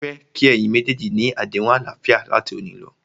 Mó fẹ́ kí ẹ̀yin méjèèjì ni àdéhùn àlàáfíà láti òní lọ.!